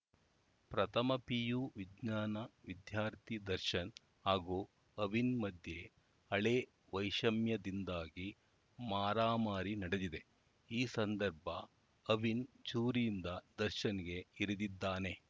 ಪ್ರಥಮ ಪಿಯು ವಿಜ್ಞಾನ ವಿದ್ಯಾರ್ಥಿ ದರ್ಶನ್‌ ಹಾಗೂ ಅವಿನ್‌ ಮಧ್ಯೆ ಹಳೇ ವೈಷಮ್ಯದಿಂದಾಗಿ ಮಾರಾಮಾರಿ ನಡೆದಿದೆ ಈ ಸಂದರ್ಭ ಅವಿನ್‌ ಚೂರಿಯಿಂದ ದರ್ಶನ್‌ಗೆ ಇರಿದಿದ್ದಾನೆ